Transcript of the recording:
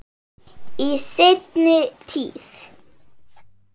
Í seinni tíð.